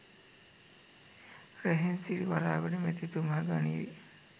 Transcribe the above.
රෙහෙන්සිරි වරාගොඩ මැතිතුමා ගනීවි